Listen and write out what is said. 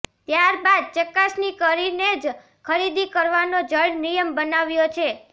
ત્યારબાદ ચકાસણી કરીને જ ખરીદી કરવાનો જડ નિયમ બનાવ્યો છે